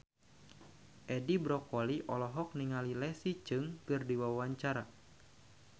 Edi Brokoli olohok ningali Leslie Cheung keur diwawancara